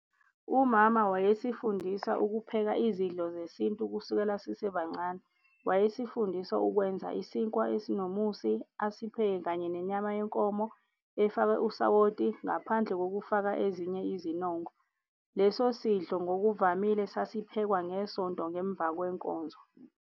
Umama wayesifundisa ukupheka izidlo zesintu kusukela sisebancane. Wayesifundisa ukwenza isinkwa esinomusi, asipheke kanye nenyama yenkomo efakwe usawoti ngaphandle kokufaka ezinye izinongo. Leso sidlo ngokuvamile sasiphekwa ngeSonto ngemva kwenkonzo.